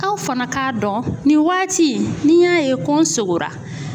Aw fana k'a dɔn nin waati n'i y'a ye ko n sogora